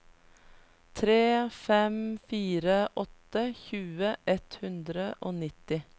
tre fem fire åtte tjue ett hundre og nitti